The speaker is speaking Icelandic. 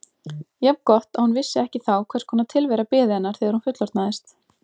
Jafn gott að hún vissi ekki þá hvers konar tilvera biði hennar þegar hún fullorðnaðist.